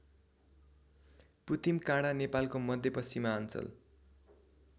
पुतिमकाडा नेपालको मध्यपश्चिमाञ्चल